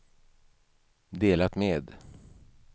delat med